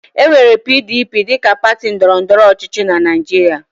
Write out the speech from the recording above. E nwere PDP dịka pati ndọrọ ndọrọ ọchịchị na Naịjirịa.